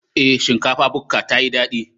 Ee, shinkafa bukka tayi dadi.